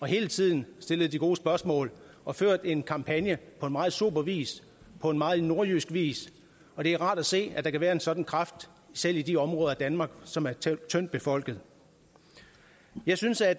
hele tiden stillede de gode spørgsmål og ført en kampagne på en meget sober vis på en meget nordjysk vis og det er rart at se at der kan være en sådan kraft selv i de områder af danmark som er tyndtbefolkede jeg synes at